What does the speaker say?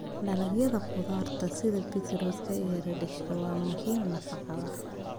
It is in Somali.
Dalagyada khudradda sida beetroot iyo radish waa muhiim nafaqada.